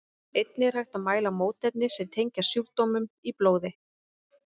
Einnig er hægt að mæla mótefni sem tengjast sjúkdómnum í blóði.